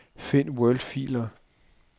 Find wordfiler.